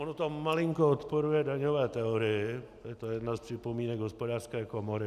Ono to malinko odporuje daňové teorii, je to jedna z připomínek Hospodářské komory.